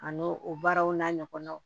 A n'o o baaraw n'a ɲɔgɔnaw